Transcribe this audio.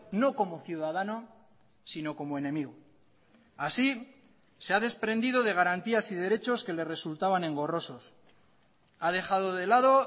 no como ciudadano sino como enemigo así se ha desprendido de garantías y derechos que le resultaban engorrosos ha dejado de lado